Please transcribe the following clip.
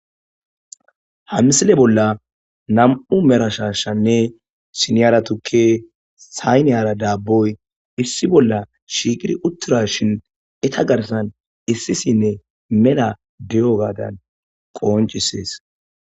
hamsile bolla nam7u merashashanne sinyara tukke sayneyara daabboy issi bolla shiiqir uttura shin eta garsan issisinne mela de7o gaadan qoonchisees